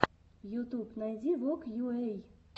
ютуб найди вог йуэй